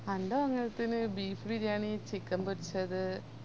എൻ്റെ മംഗലത്തിന്ന് beef biryani chicken പൊരിച്ചത്